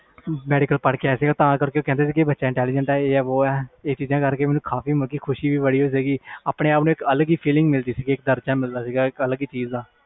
medical ਪੜ੍ਹ ਕੇ ਆਇਆ ਬੱਚਾ intelligent ਆ ਇਹ ਚੀਜ਼ਾਂ ਸੁਨ ਕੇ ਬਹੁਤ ਖੁਸ਼ੀ ਹੋਈ ਸੀ ਮੈਨੂੰ ਆਪਣੇ ਆਪ ਨੂੰ ਅਲਗ fell ਵੀ ਹੁੰਦਾ ਸੀ